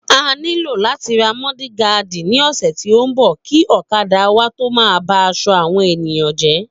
A nílò làti ra mọ́dìgaadì ni ọ̀sẹ̀ tí o nbọ, kìí ọ̀kadà wa tó má ba aṣọ àwọn ènìyàn jé